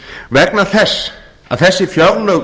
vegna þess að þessi fjárlög